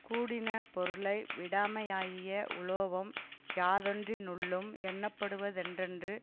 கூடின பொருளை விடாமையாகிய உலோபம் யாதொன்றினுள்ளும் எண்ணப்படுவ தொன்றன்று